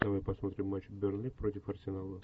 давай посмотрим матч бернли против арсенала